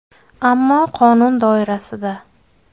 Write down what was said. Ammo qonun doirasida.